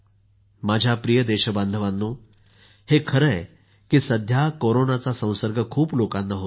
माझ्या प्रिय देशबांधवांनो हे खरे आहे की सध्या कोरोनाचा संसर्ग खूप लोकांना होतो आहे